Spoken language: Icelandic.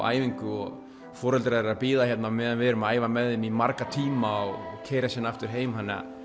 æfingu og foreldrar eru að bíða hérna á meðan við erum að æa með þeim í marga tíma og keyra síðan aftur heim